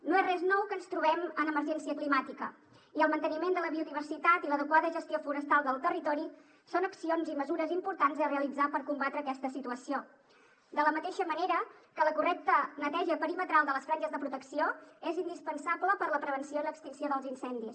no és res nou que ens trobem en emergència climàtica i el manteniment de la biodiversitat i l’adequada gestió forestal del territori són accions i mesures importants a realitzar per combatre aquesta situació de la mateixa manera que la correcta neteja perimetral de les franges de protecció és indispensable per a la prevenció i l’extinció dels incendis